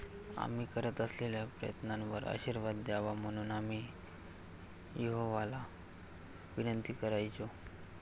आम्ही करत असलेल्या प्रयत्नांवर आशीर्वाद द्यावा म्हणून आम्ही यहोवाला विनंती करायचो.